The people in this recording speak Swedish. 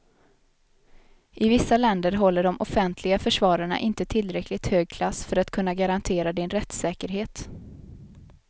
I vissa länder håller de offentliga försvararna inte tillräckligt hög klass för att kunna garantera din rättssäkerhet.